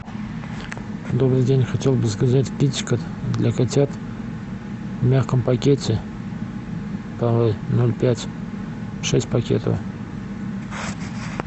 добрый день хотел бы заказать китикет для котят в мягком пакете ноль пять шесть пакетов